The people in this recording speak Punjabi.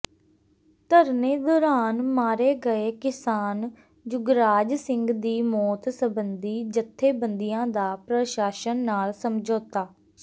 ਧਰਨੇ ਦੌਰਾਨ ਮਾਰੇ ਗਏ ਕਿਸਾਨ ਜੁਗਰਾਜ ਸਿੰਘ ਦੀ ਮੌਤ ਸਬੰਧੀ ਜਥੇਬੰਦੀਆਂ ਦਾ ਪ੍ਰਸ਼ਾਸਨ ਨਾਲ ਸਮਝੌਤਾ